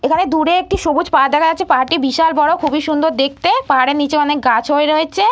এখানে দূরে একটি সবুজ পাহাড় দেখা যাচ্ছে পাহাড়টি বিশাল বড় খুবই সুন্দর দেখতে পাহাড়ের নিচে অনেক গাছ হয়ে রয়েছে।